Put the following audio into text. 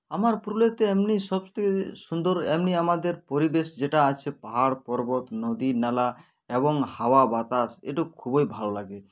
আমার পুরুলিয়াতে এমনি সবথেকে সুন্দর এমনি আমাদের পরিবেশ যেটা আছে পাহাড় পর্বত নদী নালা এবং হাওয়া বাতাস এটুক খুবই ভালো লাগে